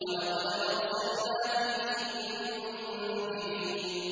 وَلَقَدْ أَرْسَلْنَا فِيهِم مُّنذِرِينَ